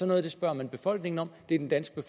noget spørger man befolkningen om at det er den danske